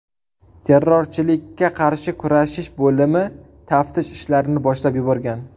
Terrorchilikka qarshi kurashish bo‘limi taftish ishlarini boshlab yuborgan.